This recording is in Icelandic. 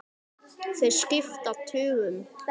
Þeir skipta tugum.